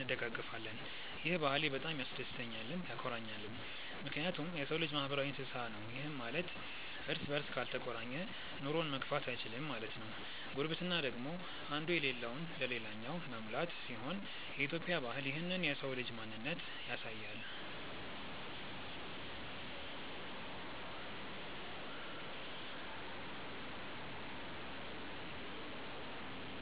እንደጋገፋለን። ይህ ባህሌ በጣም ያስደስተኛልም ያኮራኛልም ምክንያቱም የሰው ልጅ ማህበራዊ እንስሳ ነው ይህም ማለት እርስ በርስ ካልተቆራኘ ኑሮውን መግፋት እይችልም ማለት ነው። ጉርብትና ደግሞ እንዱ የለለውን ልላኛው መሙላት ሲሆን የኢትዮጵያ ባህል ይህንን የሰው ልጅ ማንነት ያሳያል።